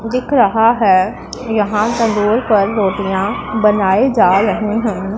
दिख रहा है यहां पर रोल पर रोटियां बनाई जा रही हैं।